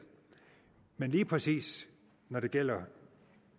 men lige præcis når det gælder